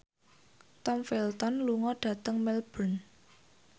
Tom Felton lunga dhateng Melbourne